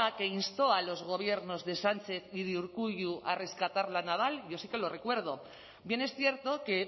que instó a los gobiernos de sánchez y de urkullu a rescatar la naval yo sí que lo recuerdo bien es cierto que